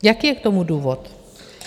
Jaký je k tomu důvod?